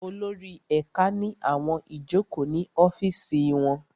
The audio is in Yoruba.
Olórí ẹ̀ka ní àwọn ìjókòó ní ọ́fìsì wọn